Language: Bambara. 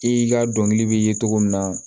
I ka dɔnkili bɛ ye cogo min na